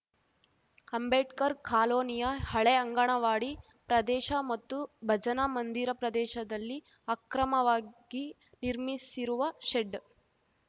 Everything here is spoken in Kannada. ಅಂಬೇಡ್ಕರ್‌ ಕಾಲೋನಿಯ ಹಳೇ ಅಂಗನವಾಡಿ ಪ್ರದೇಶ ಮತ್ತು ಭಜನಾ ಮಂದಿರ ಪ್ರದೇಶದಲ್ಲಿ ಅಕ್ರಮವಾಗಿ ನಿರ್ಮಿಸಿರುವ ಶೆಡ್‌